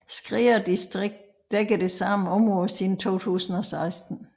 Skrea distrikt dækker det samme område siden 2016